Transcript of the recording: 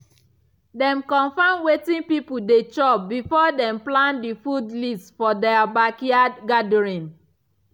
dem confirm wetin people dey chop before dem plan the food list for their backyard gathering.